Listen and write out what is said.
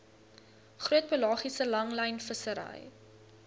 groot pelagiese langlynvissery